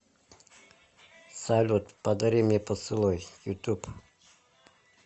салют подари мне поцелуй ютуб